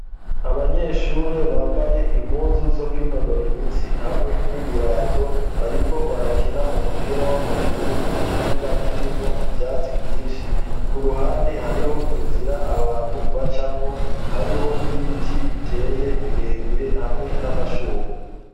Abanyeshure bambaye impuzu zo kw'inonora imitsi hamwe n'ibirato, bariko barakina umupira w'amaguru mu kibuga kirimwo ivyatsi byinshi ku ruhande hariho inzira abantu bacamwo hariho n'ibiti biteye birebire hamwe n'amashugwe.